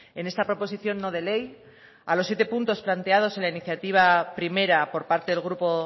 en esta proposición no de ley a los siete puntos planteados en la iniciativa primera por parte del grupo